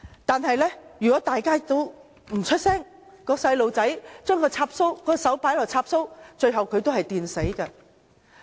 但是，如果大家也不作聲，小孩把手插入插座，最後也會被電死。